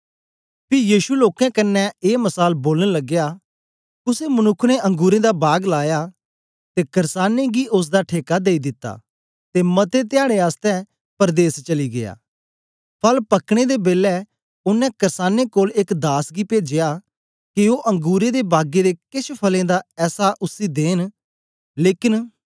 पी यीशु लोकें कन्ने ए मसाल बोलन लगया कुसे मनुक्ख ने अंगुरें दा बाग लाया ते कर्सानें गी ओसदा ठेका देई दिता ते मते धयाडें आसतै परदेस चली गीया